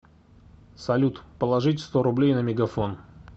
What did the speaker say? салют положить сто рублей на мегафон